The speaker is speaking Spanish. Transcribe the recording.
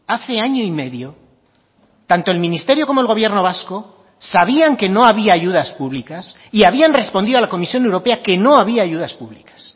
hace año y medio tanto el ministerio como el gobierno vasco sabían que no había ayudas públicas y habían respondido a la comisión europea que no había ayudas públicas